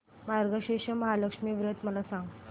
मार्गशीर्ष महालक्ष्मी व्रत मला सांग